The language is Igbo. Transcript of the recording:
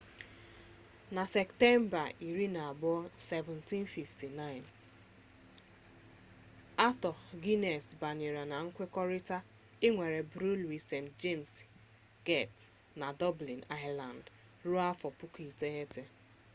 na septemba 24 1759 arthur guinness banyere na nkwekọrịta ịnwere briwiri st jems get na dublin ireland ruo afọ puku iteghete